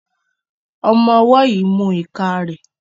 Ọmọ ọwó yí mú ika rẹ